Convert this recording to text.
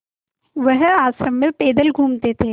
वह आश्रम में पैदल घूमते थे